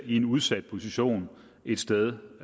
i en udsat position et sted